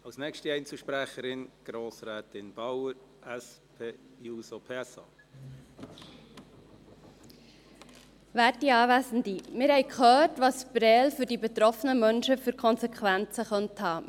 Wir haben gehört, welche Konsequenzen Prêles für die betroffenen Menschen haben könnte.